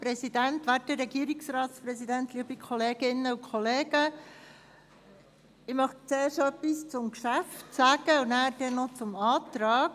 Zuerst möchte ich etwas zum Geschäft sagen und dann etwas zum Antrag.